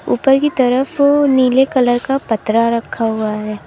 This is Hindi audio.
ऊपर की तरफ नीले कलर का पत्रा रखा हुआ है।